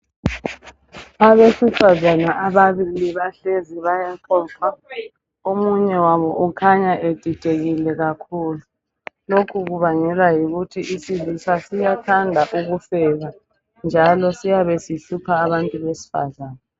Abesifazana ababili bahlezi bayaxoxa omunye wabo ukhanya edidekile kakhulu .Lokhu kubangelwa yikuthi isilisa siyathanda ukufeba njalo siyabe sihlupha abantu besifazana .